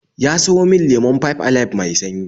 Ya sayo min lemon Five Alive mai sanyi